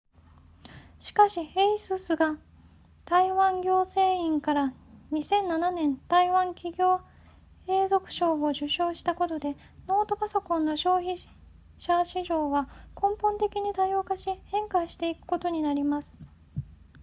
しかし asus が台湾行政院から2007年台湾企業永続賞を受賞したことでノートパソコンの消費者市場は根本的に多様化し変化していくことになります